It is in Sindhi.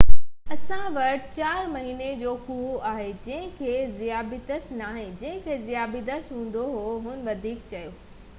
اسان وٽ 4 مهيني جو ڪوئو آهي جنهن کي ذيابيطس ناهي جنهن کي ذيابيطس هوندو هو هن وڌيڪ چيو